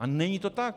A není to tak.